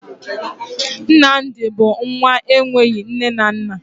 Nnamdi bụ nwa enweghi nne na nna